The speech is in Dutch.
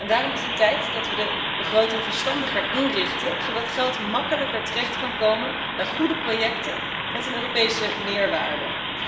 Daarom is het tijd dat we de begroting verstandiger inrichten, zodat geld makkelijker terecht kan komen bij goede projecten met een Europese meerwaarde.